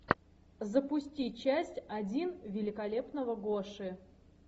запусти часть один великолепного гоши